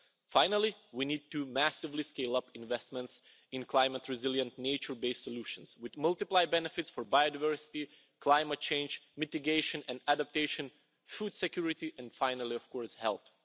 Finally, we need to massively scale up investments in climate-resilient, nature based solutions which multiply benefits for biodiversity, climate-change mitigation and adaptation, food security, and finally, of course, health.